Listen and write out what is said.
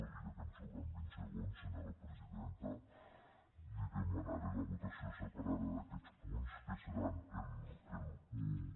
i ja que em sobren vint segons senyora presidenta li demanaré la votació separada d’aquests punts que seran l’un